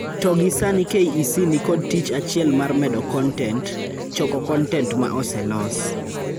To gi sani KEC ni kod tich achiel mar medo kontent: Choko kontent ma oselos.